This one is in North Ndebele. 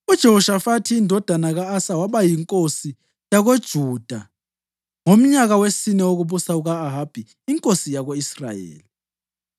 UJehoshafathi indodana ka-Asa waba yinkosi yakoJuda ngomnyaka wesine wokubusa kuka-Ahabi inkosi yako-Israyeli.